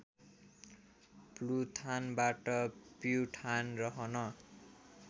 प्लुथानबाट प्युठान रहन